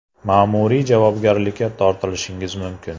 Ma’muriy javobgarlikka tortilishingiz mumkin.